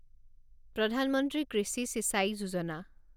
প্ৰধান মন্ত্ৰী কৃষি চিচাঁই যোজনা